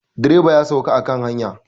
Direba ya sauka a kan hanya.